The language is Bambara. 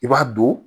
I b'a don